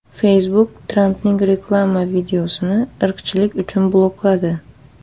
Facebook Trampning reklama videosini irqchilik uchun blokladi.